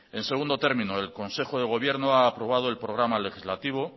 en segundo término el consejo de gobierno ha aprobado el programa legislativo